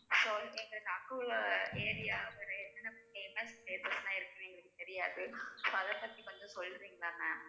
so எங்களுக்கு அங்கவுள்ள area என்னென்ன places இருக்குன்னு எங்களுக்கு தெரியாது so அதைபத்தி கொஞ்சம் சொல்றீங்களா ma'am